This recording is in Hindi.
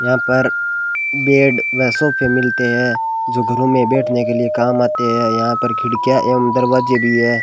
यहां पर बेड पैसों पर मिलते हैं जो घरों में बैठने के लिए काम आते हैं यहां पर खिड़कियां एवं दरवाजे भी है।